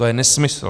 To je nesmysl.